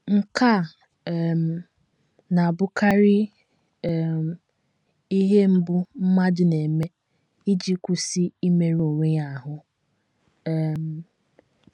Nke a um na - abụkarị um ihe mbụ mmadụ na - eme iji kwụsị imerụ onwe ya ahụ́. um